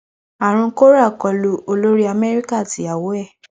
àrùn kóra kọlu olórí amẹríkà àti ìyàwó ẹ